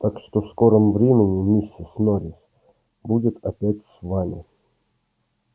так что в скором времени миссис норрис будет опять с вами